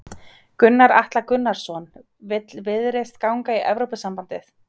Gunnar Atli Gunnarsson: Vill Viðreisn ganga í Evrópusambandið?